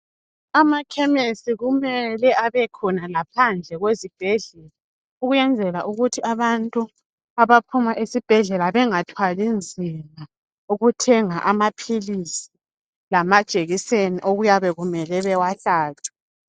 Amakhemesi kumele abekhona laphandle kwezibhedlela ukuyenzela ukuthi abantu abaphuma esibhedlela bengathwali nzima ukuthenga amaphilisi lamajekiseni okuyabe kumele bewahlatshwe